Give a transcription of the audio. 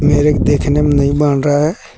मेरे को देखने में नहीं बन रहा है।